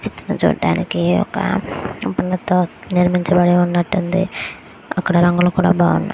చుట్టూ చుడానికి ఒక పూవులతో నిర్మించబడి ఉన్నటు ఉంది. అక్కడ రంగులు కూడా బాగున్నాయి.